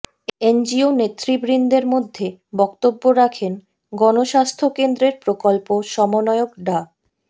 NGO নেতৃবৃন্দের মধ্যে বক্তব্য রাখেন গণস্বাস্থ্য কেন্দ্রের প্রকল্প সমন্বয়ক ডা